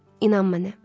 İnan mənə.